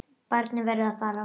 Barnið verður að fara.